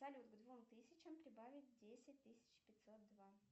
салют к двум тысячам прибавить десять тысяч пятьсот два